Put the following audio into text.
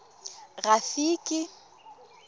rafiki